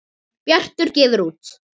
Bjartur gefur út